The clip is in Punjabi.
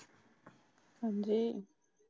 ਹਾਂਜੀ